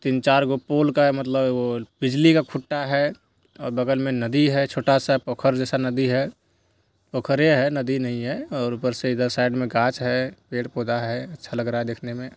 तीन-चार गो पूल का है मतलब उह वो बिजली का खुट्टा है और बगल में नदी है छोटा-सा पोखर जैसा नदी है| पोखर है नदी नहीं है| और ऊपर से इधर साइड में कांच है पेड़-पौधा है अच्छा लग रहा है देखने में।